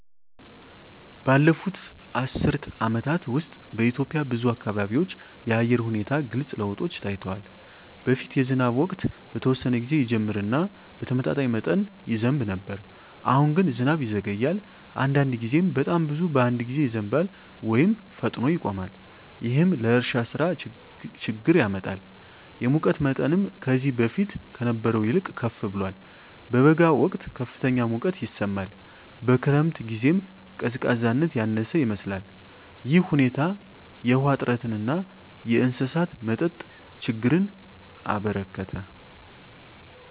ባለፉት አስርት ዓመታት ውስጥ በኢትዮጵያ ብዙ አካባቢዎች የአየር ሁኔታ ግልጽ ለውጦች ታይተዋል። በፊት የዝናብ ወቅት በተወሰነ ጊዜ ይጀምር እና በተመጣጣኝ መጠን ይዘንብ ነበር። አሁን ግን ዝናብ ይዘገያል፣ አንዳንድ ጊዜም በጣም ብዙ በአንድ ጊዜ ይዘንባል ወይም ፈጥኖ ይቆማል። ይህም ለእርሻ ሥራ ችግኝ ያመጣል። የሙቀት መጠንም ከዚህ በፊት ከነበረው ይልቅ ከፍ ብሏል። በበጋ ወቅት ከፍተኛ ሙቀት ይሰማል፣ በክረምት ጊዜም ቀዝቃዛነት ያነሰ ይመስላል። ይህ ሁኔታ የውሃ እጥረትን እና የእንስሳት መጠጥ ችግኝን አበረከተ።